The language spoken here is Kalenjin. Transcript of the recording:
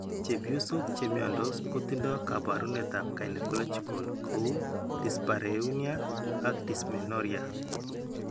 Cheebyosok che mnyandos kotindo kaabarunetap gynecological ko uu dyspareunia ak dysmenorrhea